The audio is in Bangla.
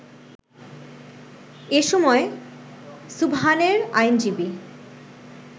এ সময় সুবহানের আইনজীবী